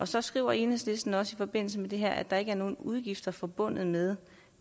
så skriver enhedslisten også i forbindelse med det her at der ikke er nogen udgifter forbundet med